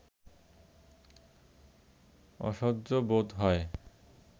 অসহ্য বোধ হয়